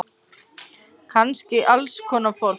Kannski alls konar fólk.